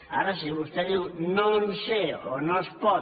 ara si vostè diu no en sé o no es pot